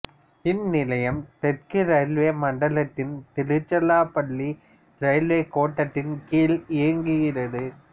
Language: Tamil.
இந்நிலையம் தெற்கு இரயில்வே மண்டலத்தின் திருச்சிராப்பள்ளி ரயில்வே கோட்டத்தின் கீழ் இயங்குகிறது